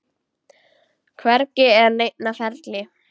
Hvergi er neinn á ferli.